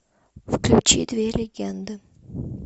включи две легенды